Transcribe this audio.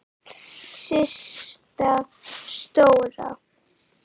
Systa stóra!